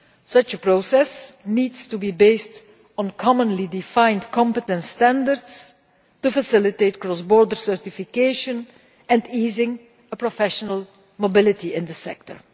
Such a process needs to be based on commonly defined competence standards in order to facilitate cross border certification and to ease professional mobility in the sector.